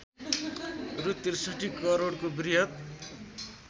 रु६३ करोडको बृहत्